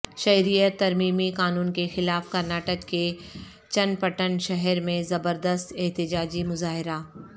شہریت ترمیمی قانون کے خلاف کرناٹک کے چن پٹن شہر میں زبردست احتجاجی مظاہرہ